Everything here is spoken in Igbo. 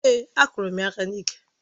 Èé, akụrụ m ya aka n'iké